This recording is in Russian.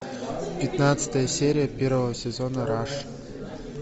пятнадцатая серия первого сезона раш